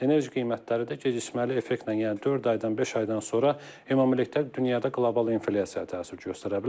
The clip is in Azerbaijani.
Enerji qiymətləri də gecikməli effektlə, yəni dörd aydan beş aydan sonra ümumilikdə dünyada qlobal inflyasiyaya təsir göstərə bilər.